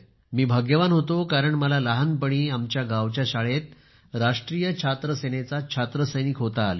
मी भाग्यवान होतो कारण मला लहानपणी आमच्या गावच्या शाळेत राष्ट्रीय छात्र सेनेचा छात्रसैनिक होता आले